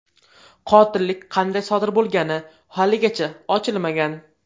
Qotillik qanday sodir bo‘lgani haligacha ochilmagan.